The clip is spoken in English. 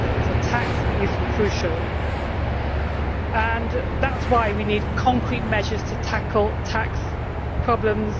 So tax is crucial, and that is why we need concrete measures to tackle tax problems.